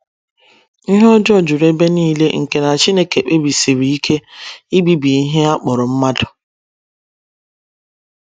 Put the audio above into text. Ihe ọjọọ juru ebe nile nke na Chineke kpebisiri ike ibibi ihe a kpọrọ mmadụ.